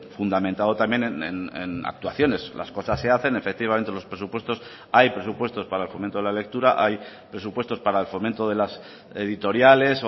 fundamentado también en actuaciones las cosas se hacen efectivamente los presupuestos hay presupuestos para el fomento de la lectura hay presupuestos para el fomento de las editoriales